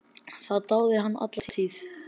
Það dáði hann alla tíð.